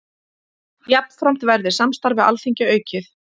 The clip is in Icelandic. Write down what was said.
Jafnframt verði samstarf við Alþingi aukið